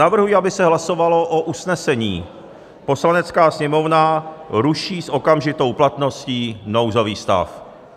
Navrhuji, aby se hlasovalo o usnesení: "Poslanecká sněmovna ruší s okamžitou platností nouzový stav."